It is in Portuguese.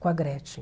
Com a Gretchen.